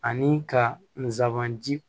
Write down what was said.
Ani ka nsaban di